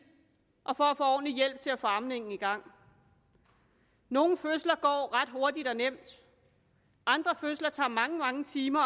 og for at få ordentlig hjælp til at få amningen i gang nogle fødsler går ret hurtigt og nemt og andre fødsler tager mange mange timer